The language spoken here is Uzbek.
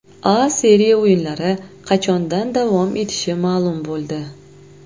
A Seriya o‘yinlari qachondan davom etishi ma’lum bo‘ldi.